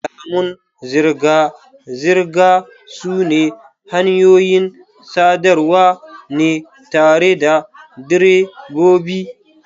Alamun zirga-zirga sune hanyoyin sadarwa ne tare da direbobi.